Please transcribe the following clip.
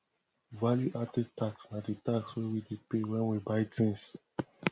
value added tax na di tax wey we dey pay when we buy things